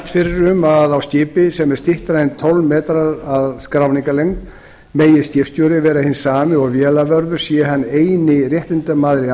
fyrir um að á skipi sem er styttra en tólf metrar að skráningarlengd megi skipstjóri vera hinn sami og vélavörður sé hann eini réttindamaðurinn í